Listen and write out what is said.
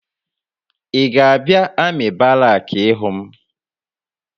Ị ga-abịa amị barakị ịhụ m?